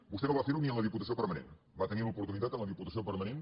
vostè no va fer ho ni en la diputació permanent va tenir l’oportunitat en la diputació permanent